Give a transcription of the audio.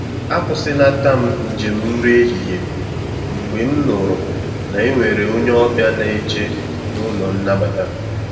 A kwụsịnata m njem nri ehihie mgbe m nụrụ na e nwere onye ọbịa na-eche n’ụlọ nnabata